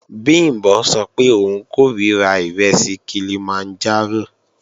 Bìmbọ́ sọ pé òun kòríra ìrẹsì Kilimanjaro